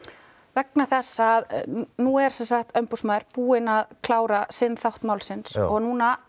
vegna þess að nú er umboðsmaður búinn að klára sinn þátt málsins núna